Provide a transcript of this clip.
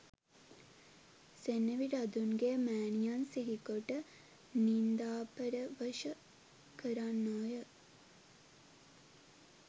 සෙනෙවිරදුන්ගේ මෑණියන් සිහිකොට නින්දාපරවශ කරන්නෝය